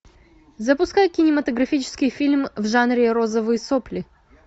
запускай кинематографический фильм в жанре розовые сопли